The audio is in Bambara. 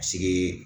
Sigi